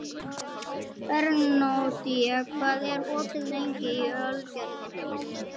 Bernódía, hvað er opið lengi í Ölgerðinni?